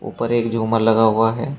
ऊपर एक झुमर लगा हुआ है।